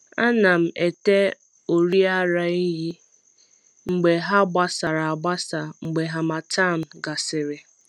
Ana m ete ọrị ara ehi mgbe ha gbasara agbasa mgbe harmattan gasịrị.